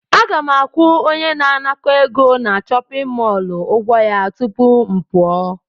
Aga m akwụ onye na-anakọ egọ na chọpịn mọọlụ ụgwọ ya tupu m pụọ.